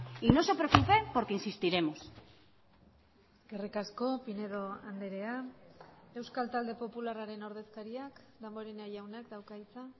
y no se preocupen porque insistiremos eskerrik asko pinedo andrea euskal talde popularraren ordezkariak damborenea jaunak dauka hitza